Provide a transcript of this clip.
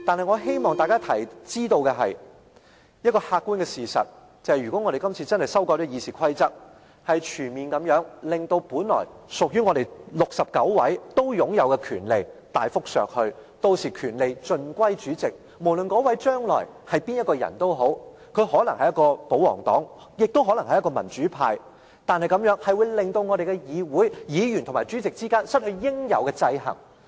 我希望大家知道一個客觀的事實，就是如果我們今次真的修改了《議事規則》，是全面地令本來屬於我們69位都擁有的權力大幅削去，屆時權力盡歸主席，無論那位將來是誰，他可能是保皇黨，也可能是民主派，但這樣會令我們的議會，議員和主席之間失去應有的制衡。